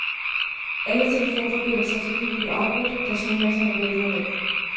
Alle telefonforbindelser til byen blev afbrudt, da snemasserne væltede ned.